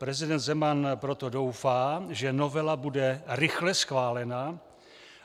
Prezident Zeman proto doufá, že novela bude rychle schválena